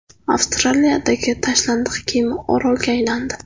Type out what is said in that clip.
Avstraliyadagi tashlandiq kema orolga aylandi .